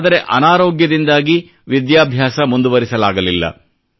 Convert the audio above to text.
ಆದರೆ ಅನಾರೋಗ್ಯದಿಂದಾಗಿ ವಿದ್ಯಾಭ್ಯಾಸ ಮುಂದುವರಿಸಲಾಗಲಿಲ್ಲ